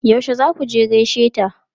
Yaushe za ku je gaishe ta?